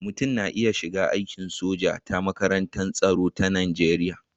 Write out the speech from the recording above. Mutum na iya shiga aikin soja ta makarantar tsaro ta Najeriya.